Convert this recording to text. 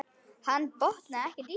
Hann botnaði ekkert í þessu.